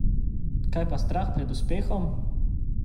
Kaj pa strah pred uspehom?